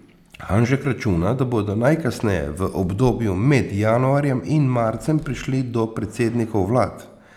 Hanžek računa, da bodo najkasneje v obdobju med januarjem in marcem prišli do predsednikov vlad.